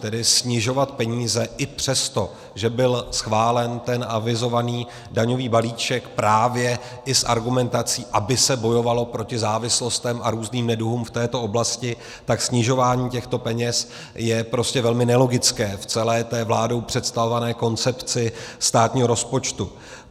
Tedy snižovat peníze i přesto, že byl schválen ten avizovaný daňový balíček právě i s argumentací, aby se bojovalo proti závislostem a různým neduhům v této oblasti, tak snižování těchto peněz je prostě velmi nelogické v celé té vládou představované koncepci státního rozpočtu.